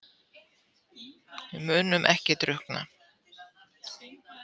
Við munum ekki drukkna